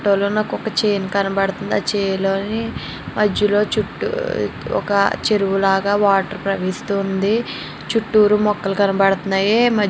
ఈ ఫోటో లో నాకు ఒక చేని కనబడుతుంది ఆ చేని లో మేధ లో చుట్టూ ఒక చెరువు లాగా వాటర్ ప్రవాయిస్తోంది చుటూరు మొక్కలు కనబడుతున్నాయి.